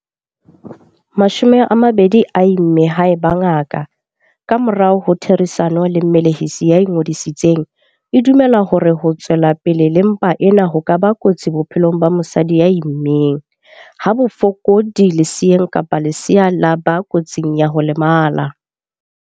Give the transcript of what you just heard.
20 a imme haeba ngaka, ka morao ho therisano le mmelehisi ya ingodisitseng, e dumela hore ho tswela pele le mpa ena ho ka ba kotsi bophelong ba mosadi ya immeng, ha baka bofokodi leseeng kapa lesea la ba kotsing ya ho lemala.